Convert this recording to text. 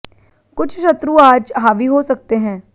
कुछ शत्रु आज हावी हो सकतें हैं हैं